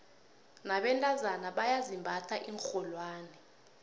nabentazana bayazimbatha iinrholwane